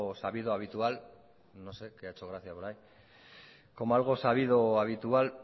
sabido habitual no sé qué ha hecho gracia por ahí como algo sabido habitual